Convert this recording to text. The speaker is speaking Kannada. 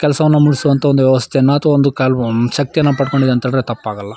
ಕೆಲಸವನ್ನು ಮುಗಿಸುವಂಥ ಒಂದು ವ್ಯವಸ್ಥೆಯನ್ನ ಅಥವಾ ಒಂದು ಶಕ್ತಿಯನ್ನು ಪಡೆದುಕೊಂಡಿದೆ ಅಂತ ಹೇಳಿದ್ರೆ ತಪ್ಪಾಗಲ್ಲ.